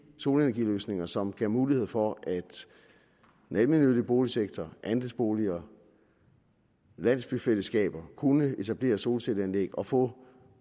solenergiløsninger som giver mulighed for at den almennyttige boligsektor andelsboliger landsbyfællesskaber kunne etablere solcelleanlæg og få